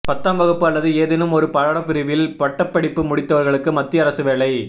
பத்தாம் வகுப்பு அல்லது ஏதேனும் ஒரு பாடப்பிரிவில் பட்டபடிப்பு முடித்தவர்களுக்கு மத்திய அரசு வேலை